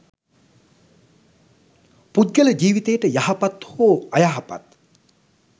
පුද්ගල ජීවිතයට යහපත් හෝ අයහපත්